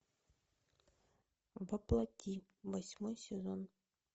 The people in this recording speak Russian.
во плоти восьмой сезон